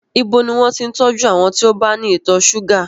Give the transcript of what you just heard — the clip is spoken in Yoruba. Ibo ni wọn ti ń tọ́jú àwọn tí ó bá ní ìtọ̀ ṣúgà?